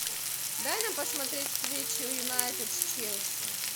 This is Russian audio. дай нам посмотреть встречу юнайтед с челси